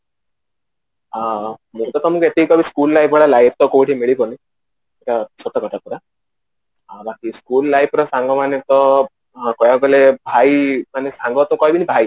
ହଁ ମୁଁ ଏବେ ତ ମୁଁ ଗୋଟିଏ କହିବି school life ଭଳିଆ life ତ କୋଉଠି ମିଳିବନି ଆଉ ବାକି school life ରେ ସାଙ୍ଗ ମାନଙ୍କ କହିବାକୁ ଗଲେ ଭାଇ ମାନେ ସାଙ୍ଗ ତ କହିବିନି ଭାଇ